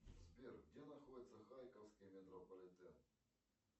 сбер где находится харьковский метрополитен